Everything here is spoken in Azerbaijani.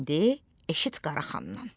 İndi eşit Qaraxandan.